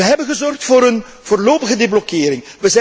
Wij hebben gezorgd voor een voorlopige deblokkering.